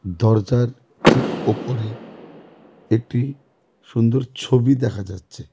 দরজার ঠিক ওপরে একটি সুন্দর ছবি দেখা যাচ্ছে.